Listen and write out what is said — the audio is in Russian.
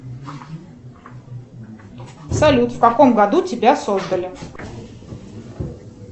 салют в каком году тебя создали